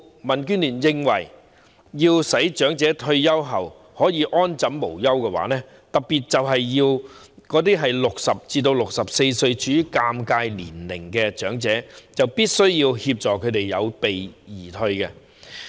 民主建港協進聯盟認為，要令長者退休後可以安枕無憂，特別是那些年屆60歲至64歲這段尷尬時期的長者，就必須協助他們有備而退。